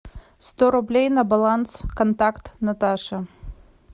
сто рублей на баланс контакт наташа